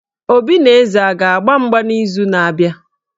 Obi na Eze a ga-agba mgba n'izu na-abịa?